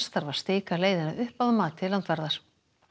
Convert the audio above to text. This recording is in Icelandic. þarf að stika leiðina upp að mati landvarðar